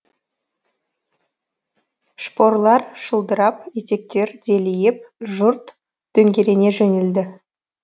шпорлар шылдырап етектер делиіп жұрт дөңгелене жөнелді